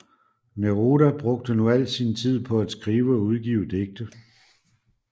Neruda brugte nu al sin tid på at skrive og udgive digte